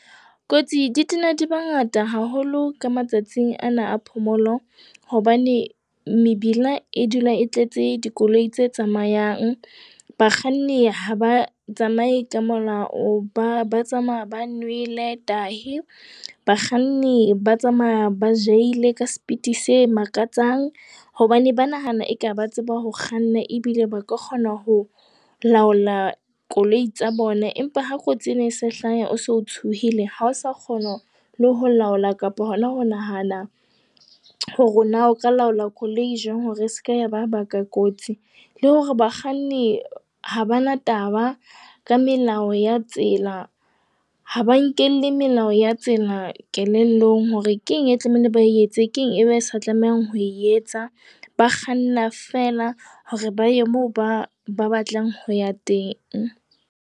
Kotsi di tena di bangata haholo ka matsatsing ana a phomolo hobane mebila e dula e tletse dikoloi tse tsamayang. Bakganni ha ba tsamaye ka molao. Ba ba tsamaya ba nwele tahi. Bakganni ba tsamaya ba jahile ka speed se makatsang hobane ba nahana eka ba tseba ho kganna ebile ba ka kgona ho laola koloi tsa bona. Empa ha kotsi ena e sa hlahe, o se tshohile ha o sa kgona le ho laola kapa hona ho nahana hore na o ka laola koloi jwang hore e seka yaba ya baka kotsi. Le hore bakganni ha ba na taba ka melao ya tsela. Ha ba nkelle melao ya tsela kelellong, hore keng e tlamehile, ba etse, keng e be se tlamehang ho etsa. Ba kganna fela hore ba ye moo ba ba batlang ho ya teng.